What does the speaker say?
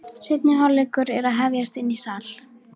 Seinni hálfleikur er að hefjast inni í sal.